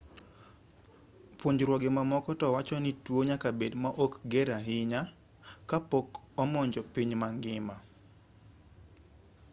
puonjruoge mamoko to wacho ni tuo nyaka bed ma ok ger ahinya ka pok omonjo piny ma ngima